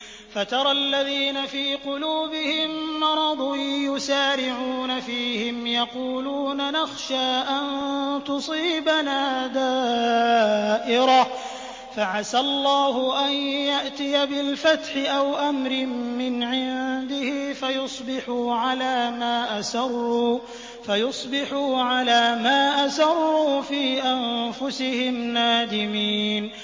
فَتَرَى الَّذِينَ فِي قُلُوبِهِم مَّرَضٌ يُسَارِعُونَ فِيهِمْ يَقُولُونَ نَخْشَىٰ أَن تُصِيبَنَا دَائِرَةٌ ۚ فَعَسَى اللَّهُ أَن يَأْتِيَ بِالْفَتْحِ أَوْ أَمْرٍ مِّنْ عِندِهِ فَيُصْبِحُوا عَلَىٰ مَا أَسَرُّوا فِي أَنفُسِهِمْ نَادِمِينَ